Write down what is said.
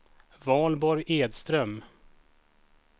Valborg Edström